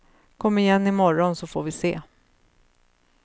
Kom igen i morgon så får vi se.